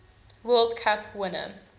world cup winner